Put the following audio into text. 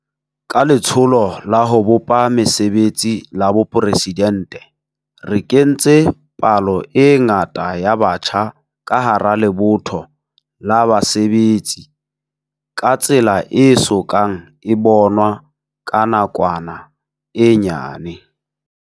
Ka Letsholo la ho bopa Mesebetsi la Boporesidente re kentse palo e ngata ya batjha ka hara lebotho la basebetsi ka tsela e so kang e bonwa ka nakwana e nyane.